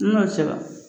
N'o sera